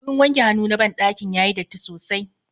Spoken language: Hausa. Wurin wanke hannu na ban ɗakin yayi datti sosai